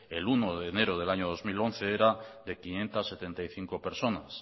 el uno de enero del año dos mil once era de quinientos setenta y cinco personas